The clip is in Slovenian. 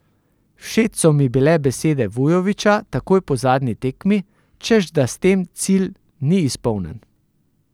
Všeč so mi bile besede Vujovića takoj po zadnji tekmi, češ da s tem cilj ni izpolnjen.